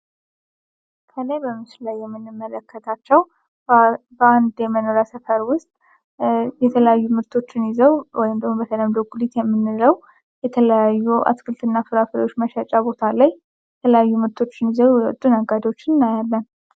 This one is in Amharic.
ከላይ በምሱ ላይ የምንመለከታቸው በንድ የመኖራ ሰፐር ውስጥ የተለዩ ምርቶችን ይዘው ወይንደሆን በተለምደጉሊት የሚንረው የተለዩ አትክልት እና ፍራፈሪዎች መሻጫ ቦታ ላይ የተለያዩ ምርቶችን ይዘው ወጡን አጋዶችን እናያመን